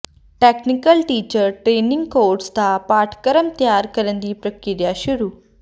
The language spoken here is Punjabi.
ਟੈਕਨੀਕਲ ਟੀਚਰ ਟਰੇਨਿੰਗ ਕੋਰਸ ਦਾ ਪਾਠਕ੍ਰਮ ਤਿਆਰ ਕਰਨ ਦੀ ਪ੍ਰਕਿਰਿਆ ਸ਼ੁਰੂ